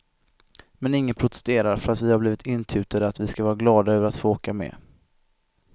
Men ingen protesterar för att vi har blivit intutade att vi ska vara glada över att få åka med.